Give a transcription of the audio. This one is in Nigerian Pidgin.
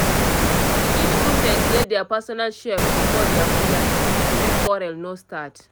each roommate get their personal shelf to store their food items make quarrel no start